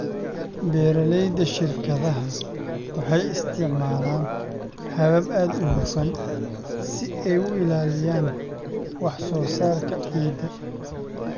Beeralayda shirkadaha waxay isticmaalaan habab aad u hufan si ay u ilaaliyaan wax soo saarka ciidda.